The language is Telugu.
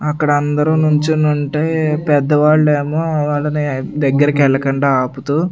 అక్కడ అందరూ నుంచెనుంటే పెద్దవాళ్లేమో వాళ్ళని దగ్గరికి వెళ్ళకుండా ఆపుతూ.